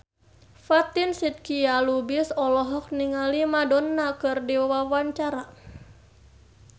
Fatin Shidqia Lubis olohok ningali Madonna keur diwawancara